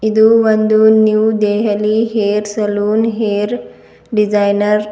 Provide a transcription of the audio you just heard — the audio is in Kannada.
ಇದು ಒಂದು new Delhi hair salon hair designer .